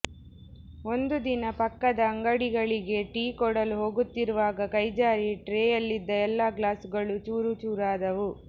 ಒಂದು ದಿನ ಪಕ್ಕದ ಅಂಗಡಿಗಳಿಗೆ ಟೀ ಕೊಡಲು ಹೋಗುತ್ತಿರುವಾಗ ಕೈಜಾರಿ ಟ್ರೇಯಲ್ಲಿದ್ದ ಎಲ್ಲಾ ಗ್ಲಾಸುಗಳೂ ಚೂರು ಚೂರಾದವು